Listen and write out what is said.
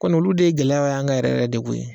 kɔni olu de ye gɛlɛya y'an kan yɛrɛ yɛrɛ de koyi